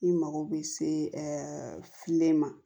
I mago bɛ se filen ma